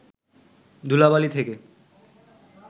ধূলাবালি থেকে